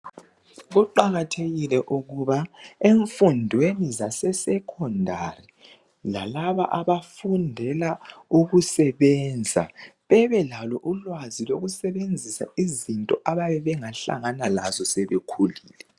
Kuqakathekile ukuba emfundweni zase "Secondary" lalaba abafundela ukusebenza bebelalo ulwazi lokusebenzisa izinto abayabe bengahlangana lazo sebekhulile.